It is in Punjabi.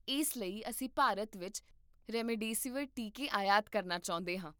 ਇਸ ਲਈ, ਅਸੀਂ ਭਾਰਤ ਵਿੱਚ ਰੇਮਡੇਸੀਵੀਰ ਟੀਕੇ ਆਯਾਤ ਕਰਨਾ ਚਾਹੁੰਦੇ ਹਾਂ